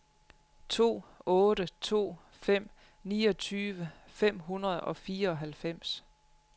to otte to fem niogtyve fem hundrede og fireoghalvfems